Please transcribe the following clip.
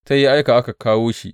Sai ya aika aka kawo shi.